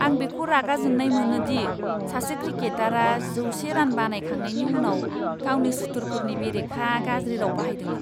आं बेखौ रागा जोंनाय मोनो दि सासे क्रिकेटारआ जौसे रान बानायखांनायनि उनाव गावनि सुथुरफोरनि बेरेखा गाज्रि राव बाहायदोंमोन!